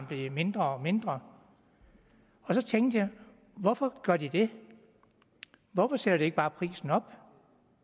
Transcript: blev mindre og mindre og så tænkte jeg hvorfor gør de det hvorfor sætter de ikke bare prisen op